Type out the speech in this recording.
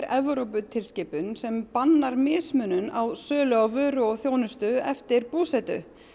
Evróputilskipun sem bannar mismunun á sölu vöru og þjónustu eftir búsetu